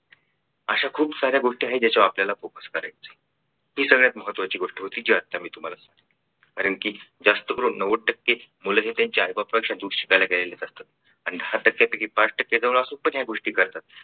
अशा खूप साऱ्या गोष्टी आहे ज्यकत्यावर आपल्याला focus करायचं ही सगळ्यात महत्त्वाची गोष्ट होती जी आता तुम्हाला सांगितली कारण की जास्त करून नव्वद टक्के मुलंही त्यांच्या आईबापापेक्षा दूर शिकायला गेलेले असतात आणि दहा टक्क्यांपैकी पाच टक्के जवळ असून पण या गोष्टी करतात.